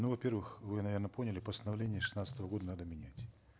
ну во первых вы наверно поняли постановление шестнадцатого года надо менять